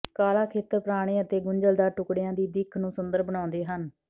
ਕਾਲਾ ਖੇਤਰ ਪੁਰਾਣੇ ਅਤੇ ਗੁੰਝਲਦਾਰ ਟੁਕੜਿਆਂ ਦੀ ਦਿੱਖ ਨੂੰ ਸੁੰਦਰ ਬਣਾਉਂਦੇ ਹਨ